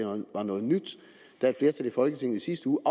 var noget nyt da et flertal i folketinget i sidste uge